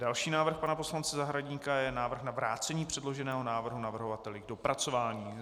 Další návrh pana poslance Zahradníka je návrh na vrácení předloženého návrhu navrhovateli k dopracování.